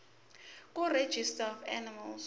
kuregistrar of animals